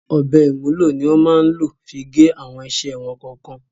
Ọ̀bẹ ìmúlò ni wọ́n máa ń lò fí gé àwọn iṣẹ́ wọn kọ̀ọ̀kan.